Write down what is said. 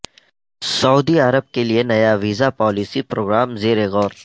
سعودی عرب کے لئے نیا ویزا پالیسی پروگرام زیر غور